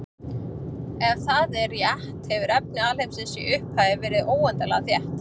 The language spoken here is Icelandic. Ef það er rétt hefur efni alheimsins í upphafi verið óendanlega þétt.